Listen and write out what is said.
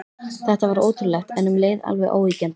Þetta var ótrúlegt, en um leið alveg óyggjandi.